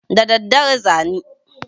Da daddare za ni.